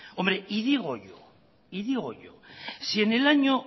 hombre y digo yo si en el año